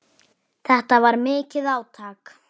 Þetta var mikið átak.